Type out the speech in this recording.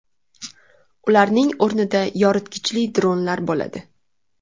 Ularning o‘rnida yoritgichli dronlar bo‘ladi .